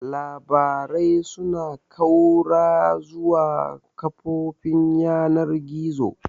Labarai suna ƙaura zuwa kafofin yanar gizo.